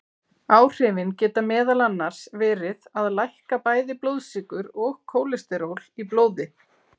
Áhrifin geta meðal annars verið að lækka bæði blóðsykur og kólesteról í blóði.